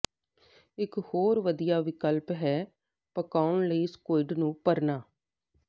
ਇਕ ਹੋਰ ਵਧੀਆ ਵਿਕਲਪ ਹੈ ਪਕਾਉਣਾ ਲਈ ਸਕੁਇਡ ਨੂੰ ਭਰਨਾ